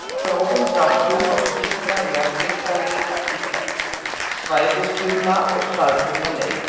Í grófum dráttum má skipta jarðhitaleit í tvennt, svæðisbundna og staðbundna leit.